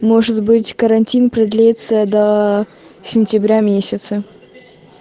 может быть карантин продлится до сентября месяца